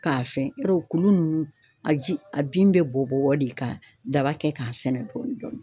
K'a fɛn ,yɔrɔ kuru nunnu ,a ji a bin bɛ bɔ bɔ de ka daba kɛ k'a sɛnɛ dɔɔnin.